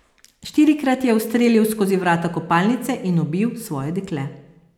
Štirikrat je ustrelil skozi vrata kopalnice in ubil svoje dekle.